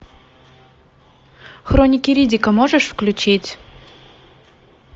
хроники риддика можешь включить